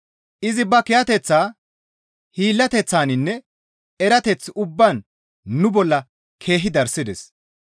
Izi ba kiyateththaa, hiillateththaninne erateth ubbaan nu bolla keehi darssides.